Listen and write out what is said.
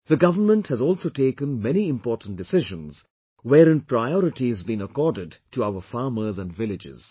The government has also taken many important decisions, wherein priority has been accorded to our farmers and villages